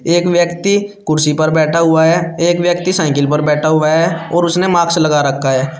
एक व्यक्ति कुर्सी पर बैठा हुआ है एक व्यक्ति साइकिल पे बैठा हुआ है और उसने मास्क लगा रखा है।